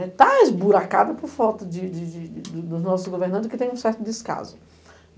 Está esburacada por falta de de de de do nosso governando, que tem um certo descaso.